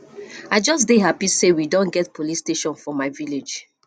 i just dey happy say we don get police station for my village